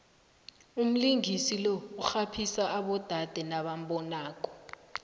umlingisi lo urhaphisa abodade nabambonako